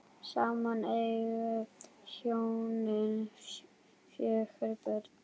Saman eiga hjónin fjögur börn.